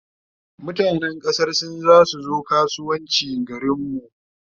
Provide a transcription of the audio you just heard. mutanan kasan sin zasu zo kasuwanci garinmu